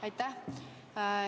Aitäh!